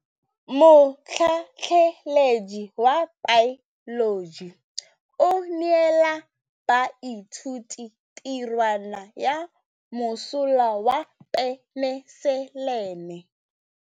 Motlhatlhaledi wa baeloji o neela baithuti tirwana ya mosola wa peniselene.